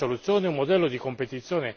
Questa è la strada da battere.